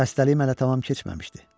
Xəstəliyim hələ tamam keçməmişdi.